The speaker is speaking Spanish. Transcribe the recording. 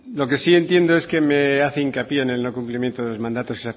lo que sí entiendo es que me hace hincapié en el no cumplimiento de los mandatos